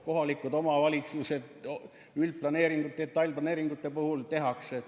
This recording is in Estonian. Kohalikud omavalitsused teevad, üldplaneeringute, detailplaneeringute puhul tehakse.